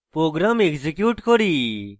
program execute করি